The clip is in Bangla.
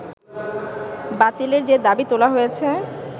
বাতিলের যে দাবি তোলা হয়েছে